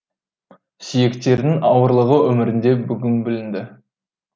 сүйектерінің ауырлығы өмірінде бүгін білінді